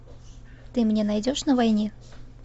ты мне найдешь на войне